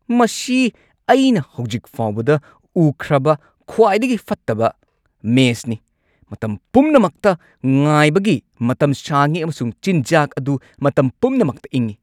ꯃꯁꯤ ꯑꯩꯅ ꯍꯧꯖꯤꯛ ꯐꯥꯎꯕꯗ ꯎꯈ꯭ꯔꯕ ꯈ꯭ꯋꯥꯏꯗꯒꯤ ꯐꯠꯇꯕ ꯃꯦꯁꯅꯤ꯫ ꯃꯇꯝ ꯄꯨꯝꯅꯃꯛꯇ ꯉꯥꯏꯕꯒꯤ ꯃꯇꯝ ꯁꯥꯡꯉꯤ ꯑꯃꯁꯨꯡ ꯆꯤꯟꯖꯥꯛ ꯑꯗꯨ ꯃꯇꯝ ꯄꯨꯝꯅꯃꯛꯇ ꯏꯪꯉꯤ꯫